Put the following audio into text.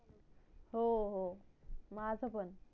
हो हो माझ पण